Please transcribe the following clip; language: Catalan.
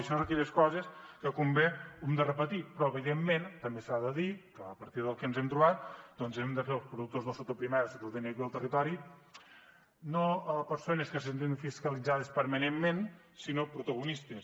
això és d’aquelles coses que quan ve s’ha de repetir però evidentment també s’ha de dir que a partir del que ens hem trobat doncs hem de fer els productors del sector primari el sector tècnic del territori no persones que se senten fiscalitzades permanentment sinó protagonistes